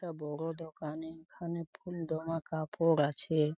একটা বড় দোকানে এখানে ফুল দমা কাপড় আছে-এ ।